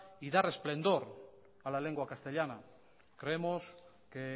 y dar resplandor a la lengua castellana creemos que